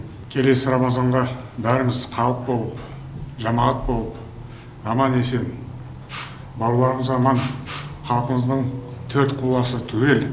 келесі рамазанға бәріміз халық болып жамағат болып аман есен бауырларымыз аман халқымыздың төрт құбыласы түгел